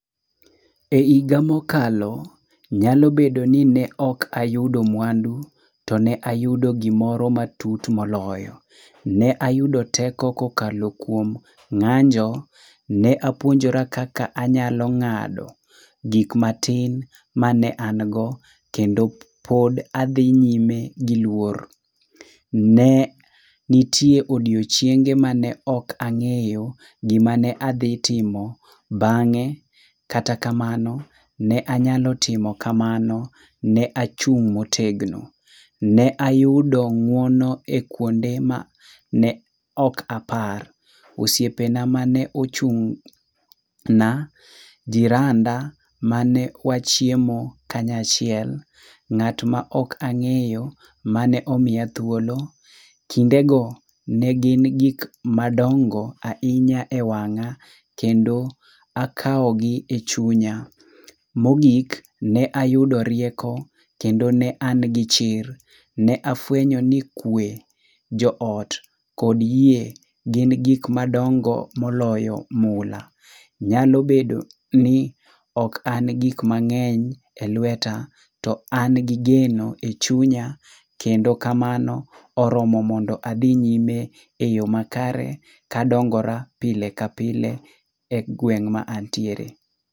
E higa mokalo, nyalo bedo ni ne ok ayudo mwandu, to ne ayudo gimoro matut moloyo. Ne ayudo teko kokalo kuom ng'anjo. Ne apuonjora kaka anyalo ng'ado gik matin mane an go, kendo pod adhi nyime gi luor. Ne nitie odiochienge mane ok nag'eyo gima ne adhitimo bang'e, kata kamano ne anyalo timo kamano. Ne achung' motegno. Ne ayudo ng'uono e kwonde ma ne ok apar. Osiepena mane ochung'na, jiranda mane wachiemo kanyachiel, ng'at ma ok ang'eyo mane omiya thuolo. Kindego ne gin gik madongo ahinya e wang'a ,kendo akawogi e chunya. Mogik, ne ayudo rieko, kendo ne an gi chir. Ne afwenyo ni kwe, joot, kod yie gin gik madongo moloyo mula. Nyalo bedo ni ok an gi gik mang'eny e lweta, to an gi geno e chunya kendo kamano oromo mondo adhi nyime e yo makare kadongora pile ka pile e gweng' ma antiere.